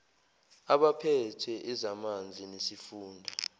kwabaphethe ezamanzi nesifunda